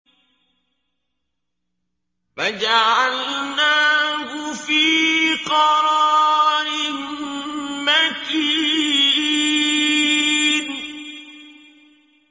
فَجَعَلْنَاهُ فِي قَرَارٍ مَّكِينٍ